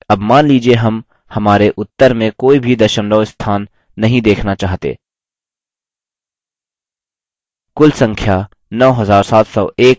अब मान लीजिये हम हमारे उत्तर में कोई भी दशमलव स्थान नहीं देखना चाहते